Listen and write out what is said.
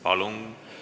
Palun!